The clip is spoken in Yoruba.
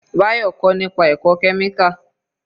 Bayo kọ́ nípa ẹ̀kọ́ kẹ́míkà